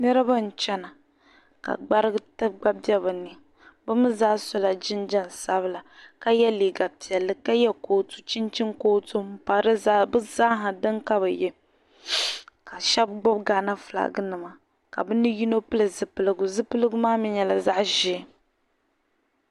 Niriba n-chana ka gbarigu gba be bɛ ni be mii zaa so la jinjam sabila ka ye liiga piɛlli ka ye cootu chinchini cootu m-pa di zaa be zaaha dani ka be ye ka shɛba gbubi Ghana filaaginima ka be ni yino pili zipiligu zipiligu maa mii nyɛla zaɣ'ʒee.